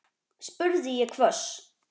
spurði ég hvöss.